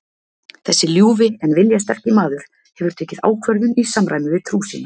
Þessi ljúfi en viljasterki maður hefur tekið ákvörðun í samræmi við trú sína.